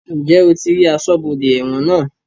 Ǹjẹ́ o ti rí aṣọ́bodè ẹ̀wọ̀n náà?